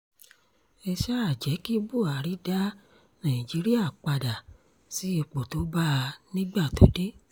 ẹ sáà jẹ́ kí buhari da nàìjíríà padà sí ipò tó bá a nígbà tó dé